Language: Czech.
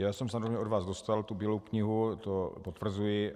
Já jsem samozřejmě od vás dostal tu Bílou knihu, to potvrzuji.